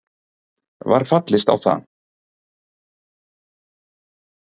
Var fallist á það